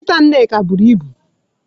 Nkita Nneka buru ibu.